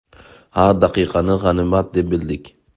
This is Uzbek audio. Har daqiqani g‘animat deb bildik.